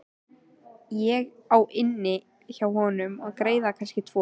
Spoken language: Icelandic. Ég á inni hjá honum greiða, kannski tvo.